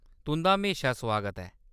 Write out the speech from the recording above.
तुं'दा म्हेशा सुआगत ऐ !